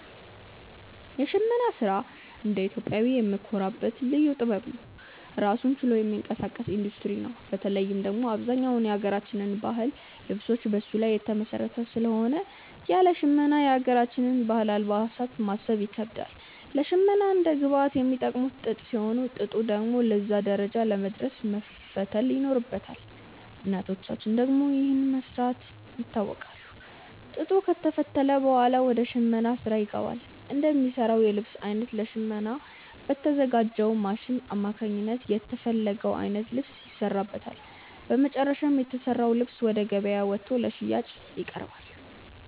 የሽመና ስራ እንደ ኢትዮጵያዊ የምንኮራበት ልዩ ጥበብ ነው። ራሱን ችሎ የሚንቀሳቀስ ኢንዱስትሪ ነው። በተለይ ደግሞ አብዛኛው የሀገራችን የባህል ልብሶች በሱ ላይ የተመሰረተ ስለሆነ ያለ ሽመና የሀገራችንን የባህል አልባሳት ማሰብ ይከብዳል። ለሽመና እንደ ግብአት የሚጠቀሙት ጥጥ ሲሆን፣ ጥጡ ደግሞ ለዛ ደረጃ ለመድረስ መፈተል ይኖርበታል። እናቶቻችን ደግሞ ይህንን በመስራት ይታወቃሉ። ጥጡ ከተፈተለ ብኋላ ወደ ሽመናው ስራ ይገባል። እንደሚሰራው የልብስ አይነት ለሽመና በተዘጋጅው ማሽን አማካኝነት የተፈለገው አይነት ልብስ ይሰራበታል። በመጨረሻም የተሰራው ልብስ ወደ ገበያ ወጥቶ ለሽያጭ ይቀርባል።